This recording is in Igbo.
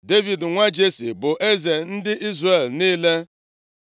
Devid nwa Jesi bụ eze ndị Izrel niile.